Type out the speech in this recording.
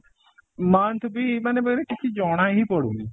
month ବି ମାନେ କିଛି ଜଣା ହିଁ ପଡୁନି